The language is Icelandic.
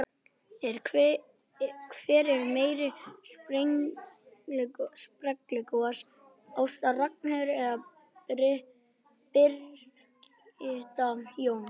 Hver er meiri sprelligosi, Ásta Ragnheiður eða Birgitta Jóns?